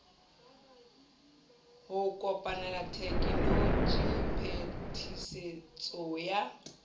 ho kopanela tekenoloji phetisetso ya